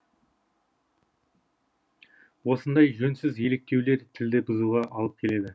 осындай жөнсіз еліктеулер тілді бұзуға алып келеді